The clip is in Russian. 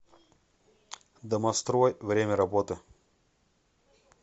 домострой время работы